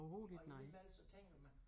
Og alligevel så tænker man